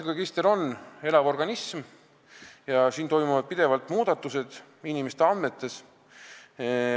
Rahvastikuregister on elav organism, siin toimuvad pidevalt muudatused inimeste andmetes.